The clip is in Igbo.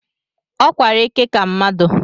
Ọ kwara eke ka mmadụ